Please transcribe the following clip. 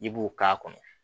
I b'o k'a kɔnɔ